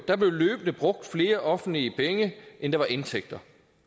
der blev løbende brugt flere offentlige penge end der var indtægter